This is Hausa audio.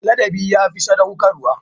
Ladabi ya fi sadaukarwa.